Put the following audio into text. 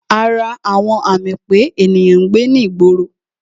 Ara àwọn àmì pé ènìyàn ń gbé ní ìgboro